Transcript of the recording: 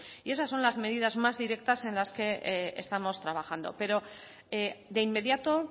y esas son las medidas más directas en las que estamos trabajando pero de inmediato